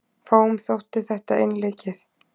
Fáum þótti þetta einleikið.